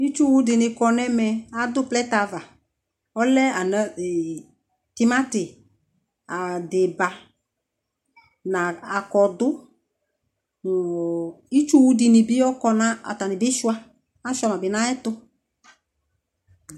itsʋ wʋ dini kɔnʋ ɛmɛ, adʋ plɛtɛ aɣa ɔlɛ tʋmati, adiba nʋ akɔdʋ nʋ itsʋ wʋ dini bi ɔkɔnʋ atani bi sʋa, asʋa ma bi nʋ ayɛtʋ